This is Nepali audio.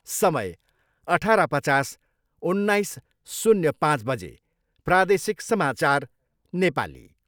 समय अठार पचास उन्नाइस शून्य पाँच बजे प्रादेशिक समाचार, नेपाली